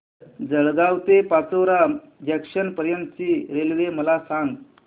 जळगाव ते पाचोरा जंक्शन पर्यंतची रेल्वे मला सांग